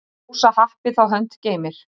Hrósa happi þá hönd geymir.